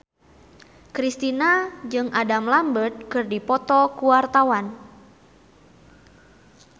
Kristina jeung Adam Lambert keur dipoto ku wartawan